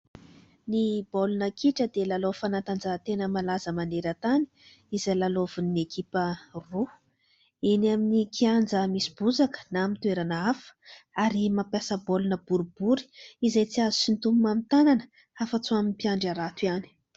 Ny baolina kitra dia lalao fanantanjahan-tena malaza maneran-tany izay lalaovin'ny ekipa roa eny amin'ny kianja misy bozaka na amin'ny toerana hafa ary mampiasa baolina boribory izay tsy azo sintonina amin'ny tanana afatsy ho an'ny mpiandry arato ihany.